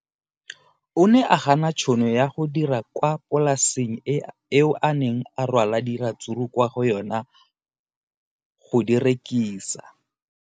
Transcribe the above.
O ne a gana tšhono ya go dira kwa polaseng eo a neng rwala diratsuru kwa go yona go di rekisa.